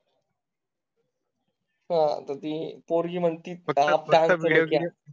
हां तर ती पोरगी म्हणती फळा.